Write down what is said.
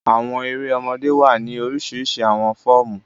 Àwọn èrè ọmọdé wa ni orisirisi awọn fọọmu.